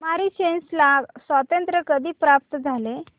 Mauritius ला स्वातंत्र्य कधी प्राप्त झाले